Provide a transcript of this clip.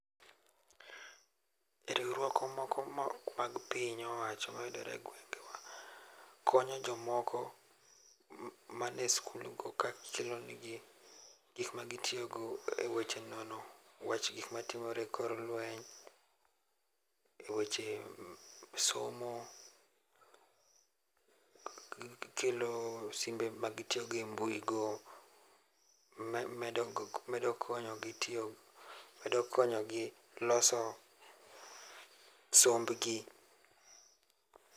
Riwruok moko ma ok mag piny owacho ma yudore e gwenge wa konyo jo moko ma ni e school go ka kelo ne gi gik ma gitiyo godo e nono wach gik ma timore e kor lweny e weche somo kelo simbe ma gitiyogo e mbui go medo konyo gi loso somb gi.